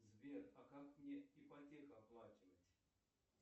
сбер а как мне ипотеку оплачивать